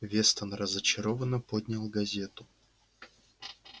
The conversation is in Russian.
вестон разочарованно поднял газету